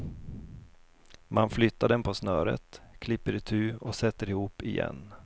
Man flyttar dem på snöret, klipper itu och sätter ihop igen.